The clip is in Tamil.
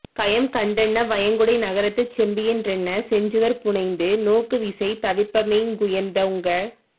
கயம்கண் டன்ன வயங்குடை நகரத்துச் செம்பியன் றன்ன செஞ்சுவர் புனைந்து நோக்குவிசை தவிர்ப்ப மேக்குயர்ந் தோங்க